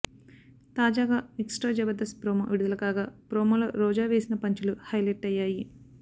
తాజాగా extra Jabardasth promo విడుదల కాగా ప్రోమోలో రోజా వేసిన పంచ్ లు హైలెట్ అయ్యాయి